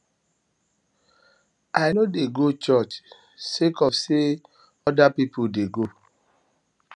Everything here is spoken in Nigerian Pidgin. i no dey go church sake of sey other pipu dey go